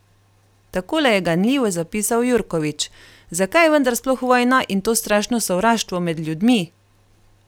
Takole je ganljivo zapisal Jurkovič: "Zakaj je vendar sploh vojna in to strašno sovraštvo med ljudmi?